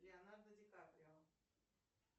леонардо ди каприо